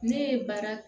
Ne ye baara